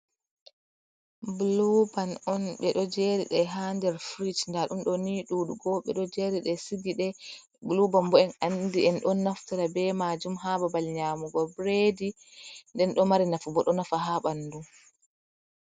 Buluu-ban on ɓe ɗo jeeri ɗe ha nder firij, nda ɗum ɗo nii ɗuuɗugo, ɓe ɗo jeeri ɗe, sigi ɗe. Buluu-ban bo en andi en ɗon naftira be maajum ha babal nyaamugo biredi, nden ɗo mari nafu bo, ɗo nafa ha ɓandu.